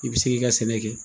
I bi se k'i ka sɛnɛ kɛ.